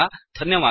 धन्यवादाः